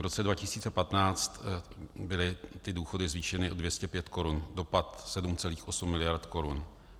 V roce 2015 byly důchody zvýšeny o 205 korun, dopad 7,8 miliardy korun.